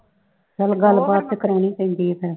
ਚੱਲ ਗੱਲਬਾਤ ਤੇ ਕਰਾਉਣੀ ਈ ਪੈਂਦੀ ਏ ਫਿਰ।